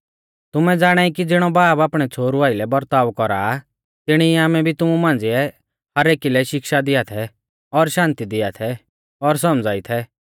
तुमै ज़ाणाई कि ज़िणौ बाब आपणै छ़ोहरु आइलै बरताव कौरा तिणी ई आमै भी तुमु मांझ़िऐ हर एकी लै शिक्षा दिया थै और शान्ति दिया थै और सौमझ़ाई थै